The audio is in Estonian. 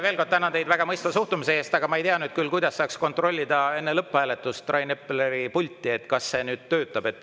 Veel kord tänan teid väga mõistva suhtumise eest, aga ma ei tea nüüd, kuidas saaks enne lõpphääletust kontrollida Rain Epleri pulti, kas see nüüd töötab.